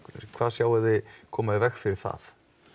hvað sjáið þið koma í veg fyrir það